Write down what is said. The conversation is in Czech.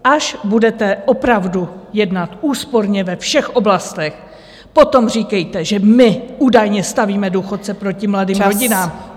Až budete opravdu jednat úsporně ve všech oblastech, potom říkejte, že my údajně stavíme důchodce proti mladým rodinám.